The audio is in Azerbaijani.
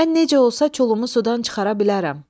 Mən necə olsa çolunu sudan çıxara bilərəm?